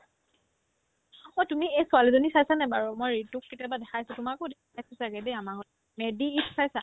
অ',তুমি এই ছোৱালীজনী চাইছানে বাৰু মই ৰিতুক কেতিয়াবা দেখাইছো তোমাকো দেখাইছো ছাগে দেই আমাৰ ঘৰত মেড্ডায়েটচ চাইছা